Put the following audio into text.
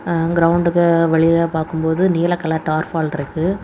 எ கிரவுண்டுக்கு வெளில பார்க்கும்போது நீல கலர் டார்க் வால் இருக்கு.